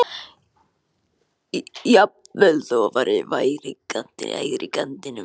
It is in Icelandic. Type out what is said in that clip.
Jafnvel þó að verðið væri í hærri kantinum.